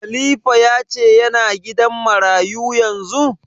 Khalifa ya ce yana gidan marayu yanzu?